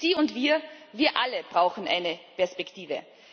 Sie und wir, wir alle brauchen eine Perspektive.